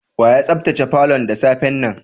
Wa ya sabtace falon da safe'n nan?